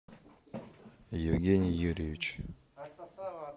евгений юрьевич